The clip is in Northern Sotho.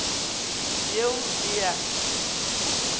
yeo o be a e